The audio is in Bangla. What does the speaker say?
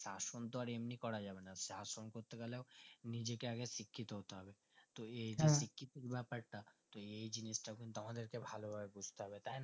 শাসন তো আর এমনি করাযাবে না শাসন করতে গেলে নিজেকে আগে শিক্ষিত হতে হবে তো শিক্ষিত বেপারটা তো এই জিনিসটা কিন্তু আমাদেরকে ভালোভাবে বুজতে হবে তাই না